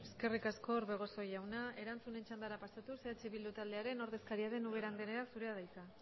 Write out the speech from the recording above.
esker eskerrik asko orbegozo jauna erantzunen txandara pasatuz eh bildu taldearen ordezkaria den ubera andrea zurea da hitza